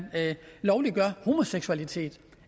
lovliggør homoseksualitet